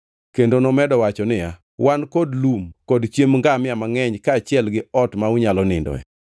Kendo nomedo wacho niya, “Wan kod lum kod chiemb ngamia mangʼeny kaachiel gi ot ma unyalo nindoe.”